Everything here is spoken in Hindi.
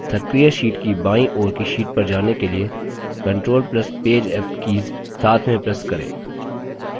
सक्रिय sheet की बाईं ओर की sheet पर जाने के लिए control plus page up keys साथ में press करें